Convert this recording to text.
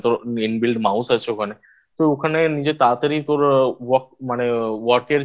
তো ওখানে নিজের তাড়াতাড়ি Work মানে Work এর যে